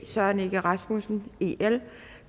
søren egge rasmussen